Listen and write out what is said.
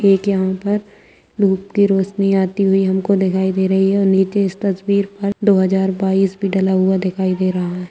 एक यहाँ पर धूप की रोशनी आती हुई हमको दिखाई दे रही है और नीचे इस तस्वीर पर दो हज़ार बाईस भी डाला हुआ दिखाई दे रहा है।